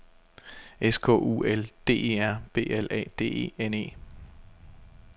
S K U L D E R B L A D E N E